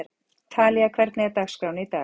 Talía, hvernig er dagskráin í dag?